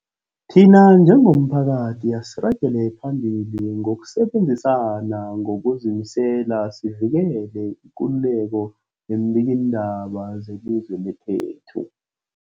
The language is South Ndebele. Thina njengomphakathi, asiragele phambili ngokusebenzisana ngokuzimisela sivikele ikululeko yeembikiindaba zelizwe lekhethu.